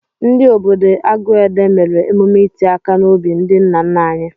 Ndị obodo Aguede mere emume iti aka n'obi ndị nna nna anyị.